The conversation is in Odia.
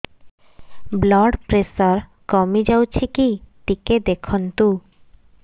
ବ୍ଲଡ଼ ପ୍ରେସର କମି ଯାଉଛି କି ଟିକେ ଦେଖନ୍ତୁ